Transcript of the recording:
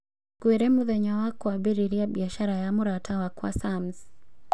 Ngwĩre mũthenya wa kwambĩrĩria biacara ya mũrata wakwa Sams